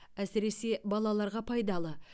әсіресе балаларға пайдалы